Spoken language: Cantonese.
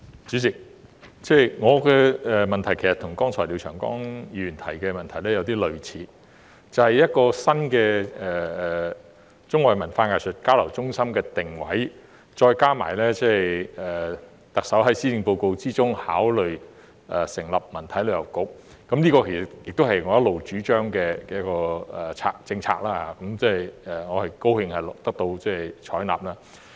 主席，我的補充質詢跟廖長江議員剛才提出的有點類似，便是有關新的中外文化藝術交流中心的定位，再加上特首在施政報告中考慮成立的文體旅遊局，這其實也是我一直主張的政策，我高興得到採納。